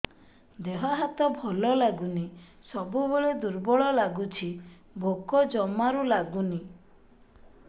ଦେହ ହାତ ଭଲ ଲାଗୁନି ସବୁବେଳେ ଦୁର୍ବଳ ଲାଗୁଛି ଭୋକ ଜମାରୁ ଲାଗୁନି